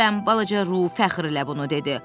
balaca Ruh fəxrlə bunu dedi.